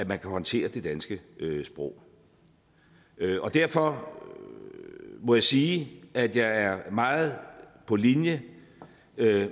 man kan håndtere det danske sprog og derfor må jeg sige at jeg er meget på linje